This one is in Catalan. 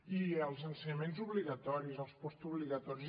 i els ensenyaments obligatoris els postobligatoris